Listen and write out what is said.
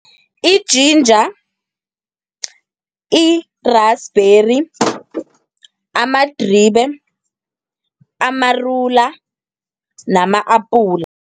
I-ginger, i-rasibheri, amadribe, amarula, nama-apula.